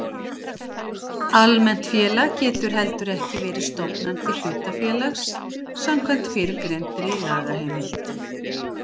Almennt félag getur heldur ekki verið stofnandi hlutafélags samkvæmt fyrrgreindri lagaheimild.